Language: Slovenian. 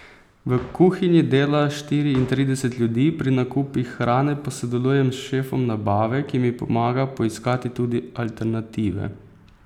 V kuhinji dela štiriintrideset ljudi, pri nakupih hrane pa sodelujem s šefom nabave, ki mi pomaga poiskati tudi alternative.